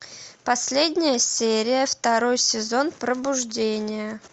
последняя серия второй сезон пробуждение